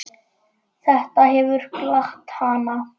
Þetta hefur glatt hana.